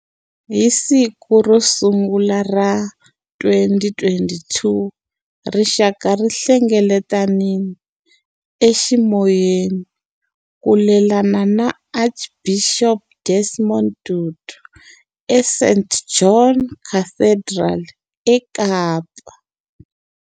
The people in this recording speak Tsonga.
Hi siku ro sungula ra 2022, rixaka ri hlengeletanile eximoyeni ku lelana na Archbishop Desmond Tutu eSt George's Cathedral eKapa.